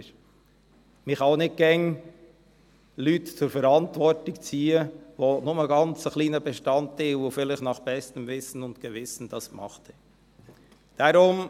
Man kann auch nicht immer Leute zur Verantwortung ziehen, die nur einen ganz kleinen Bestandteil, und das vielleicht nach bestem Wissen und Gewissen, gemacht haben.